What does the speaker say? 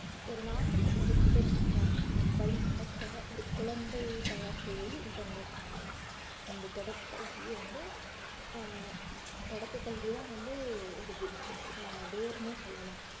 ஒரு நாட்டுக்கு பொறுப்பேற்க வழிநடத்த ஒரு குழந்தையை தயார் செய்வது இதன் நோக்கமாகும் இந்த தொடக்கக் கல்வியை வந்து ஆஹ் தொடக்கக் கல்விதான் வந்து ஒரு இது ஆஹ் வேர்னே சொல்லலாம்